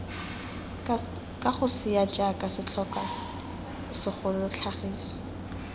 kagosea jaaka setlhokwa segolo tlhagiso